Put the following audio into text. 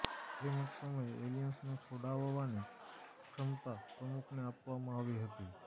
શ્રીમંત સમયે એલિયન્સને છોડાવવાની ક્ષમતા પ્રમુખને આપવામાં આવી હતી